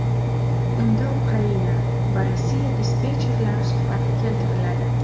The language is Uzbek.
Unda Ukraina va Rossiya dispetcherlari suhbati keltiriladi.